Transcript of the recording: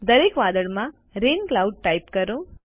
દરેક વાદળમાં rain cloud type કરો